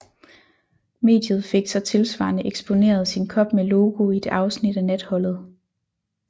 Mediet fik så tilsvarende eksponeret sin kop med logo i et afsnit af Natholdet